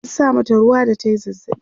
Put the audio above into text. an sa mata ruwa da tayi zazzabi